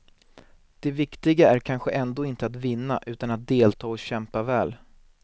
Det viktiga är kanske ändå inte att vinna utan att delta och kämpa väl.